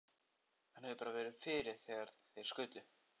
Hann hefði bara verið fyrir þegar þeir skutu.